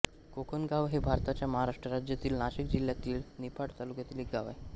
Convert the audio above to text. कोकणगाव हे भारताच्या महाराष्ट्र राज्यातील नाशिक जिल्ह्यातील निफाड तालुक्यातील एक गाव आहे